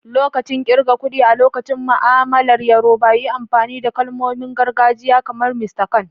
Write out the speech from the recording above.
Lokacin kirga kuɗi a cikin ma'amalar Yorùbá, yi amfani da kalmomin gargajiya kamar "Mr kan."